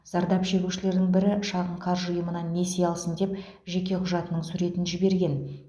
зардап шегушілердің бірі шағын қаржы ұйымынан несие алсын деп жеке құжатының суретін жіберген